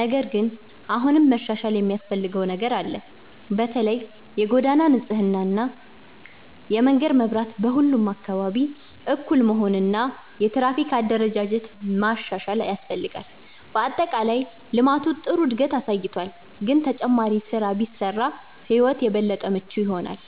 ነገር ግን አሁንም መሻሻል የሚያስፈልገው ነገር አለ። በተለይ የጎዳና ንጽህና፣ የመንገድ መብራት በሁሉም አካባቢ እኩል መሆን እና የትራፊክ አደረጃጀት ማሻሻል ያስፈልጋል። በአጠቃላይ ልማቱ ጥሩ እድገት አሳይቷል፣ ግን ተጨማሪ ስራ ቢሰራ ሕይወት የበለጠ ምቹ ይሆናል።